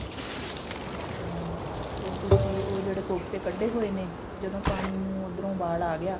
ਹਾਂ ਫਿਰ ਤੁਸੀਂ ਉਹ ਜਿਹੜੇ ਕੋਫਤੇ ਕੱਢੇ ਹੋਏ ਨੇ ਜਦੋਂ ਪਾਣੀ ਨੂੰ ਉੱਧਰੋਂ ਉਬਾਲ ਆ ਗਿਆ